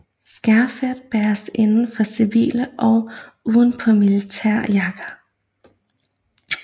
Skærfet bæres inden for civile og uden på militære jakker